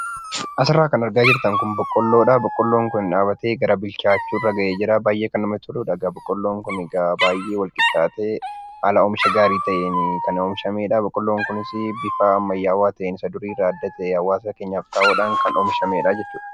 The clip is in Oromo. Asirraa kan argaa jirtan kun boqqoolloodha. Boqqoolloon kun dhaabatee bilchaachuurra gahee jira. Baay'ee kan namatti toludha. Egaa baay'ee wal qixxaatee haala oomisha gaarii ta'een kan oomishamedha. Boqoolloon kunis bifa ammayyaawaa ta'een isa duriirraa adda ta'ee hawaasa keenyaan xaa'oodhaan kan oomishamedha jechuudha.